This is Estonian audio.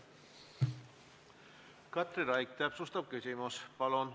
Katri Raik, täpsustav küsimus, palun!